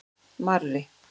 Marri